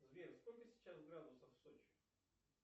сбер сколько сейчас градусов в сочи